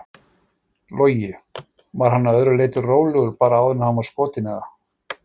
Logi: Var hann að öðru leyti rólegur bara áður en hann var skotinn eða?